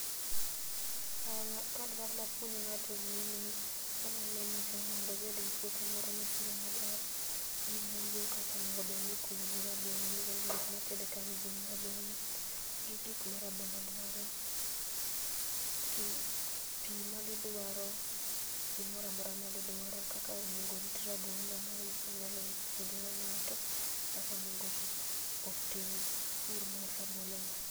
An kadwani apuonj ng'ato gini anyalo nyise mondo obed gi puothe moro mopuro maber gi bugo kaka onego obed ni ikunyo ne rabolo nikech gikmopidh kagi gin rabolo gi gik ma rabolo duaro pi magidwaro gimoramora magidwaro kaka onego orit rabolo, mae ema nyalo puonjo go ng'ato kaka onego otim pur mar rabolo ni.